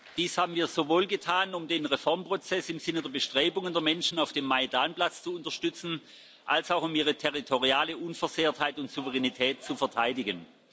Dies haben wir sowohl getan, um den Reformprozess im Sinne der Bestrebungen der Menschen auf dem Majdan Platz zu unterstützen, als auch um Ihre territoriale Unversehrtheit und Souveränität zu verteidigen.